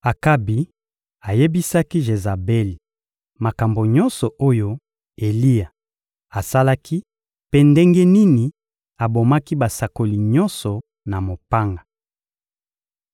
Akabi ayebisaki Jezabeli makambo nyonso oyo Eliya asalaki mpe ndenge nini abomaki basakoli nyonso na mopanga.